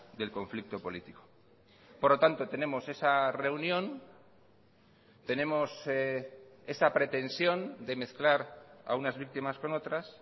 del conflicto político por lo tanto tenemos esa reunión tenemos esa pretensión de mezclar a unas víctimas con otras